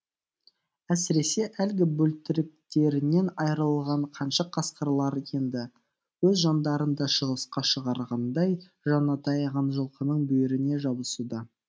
әсіресе әлгі бөлтіріктерінен айырылған қаншық қасқырлар енді өз жандарын да шығысқа шығарғандай жанына таяған жылқының бүйіріне жабысуда